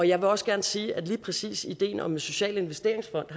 jeg vil også gerne sige at lige præcis ideen om en social investeringsfond